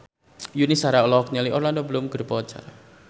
Yuni Shara olohok ningali Orlando Bloom keur diwawancara